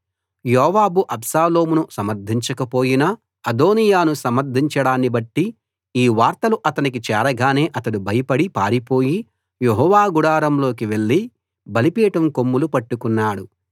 యోవాబు అబ్షాలోమును సమర్ధించక పోయినా అదోనీయాను సమర్ధించడాన్ని బట్టి ఈ వార్తలు అతనికి చేరగానే అతడు భయపడి పారిపోయి యెహోవా గుడారం లోకి వెళ్ళి బలిపీఠం కొమ్ములు పట్టుకున్నాడు